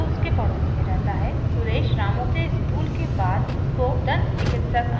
फिर who उसको एक दन्त चिकित्सक अंकल के बारे में बताता है जो उसके पड़ोस में रहता है